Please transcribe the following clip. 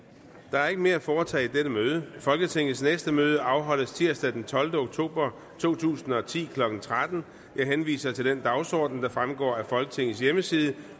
er ikke mere at foretage i dette møde folketingets næste møde afholdes tirsdag den tolvte oktober to tusind og ti klokken tretten jeg henviser til den dagsorden der fremgår af folketingets hjemmeside